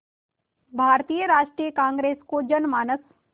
भारतीय राष्ट्रीय कांग्रेस को जनमानस